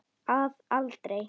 Að aldrei.